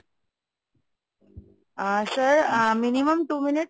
a sir ah minimum two minute